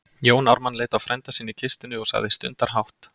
Jón Ármann leit á frænda sinn í kistunni og sagði stundarhátt